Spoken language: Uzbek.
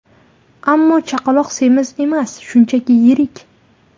Ammo chaqaloq semiz emas, shunchaki yirik.